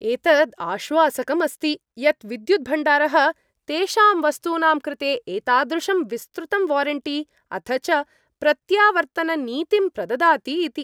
एतत् आश्वासकम् अस्ति यत् विद्युद् भण्डारः तेषां वस्तूनां कृते एतादृशं विस्तृतं वारेण्टि अथ च प्रत्यावर्तननीतिं प्रददाति इति।